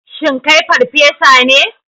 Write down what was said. Shin kai farfesa ne?